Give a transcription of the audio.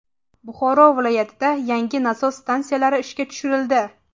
Buxoro viloyatida yangi nasos stansiyalari ishga tushirildi.